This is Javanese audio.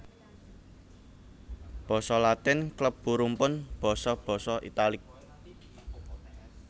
Basa Latin klebu rumpun basa basa Italik